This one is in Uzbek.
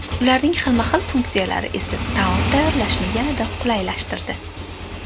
Ularning xilma-xil funksiyalari esa taom tayyorlashni yanada qulaylashtirdi.